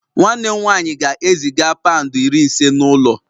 Nwanne m nwanyị ga-eziga pound iri ise n'ụlọ